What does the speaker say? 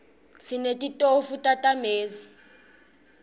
sinetitofu tamezi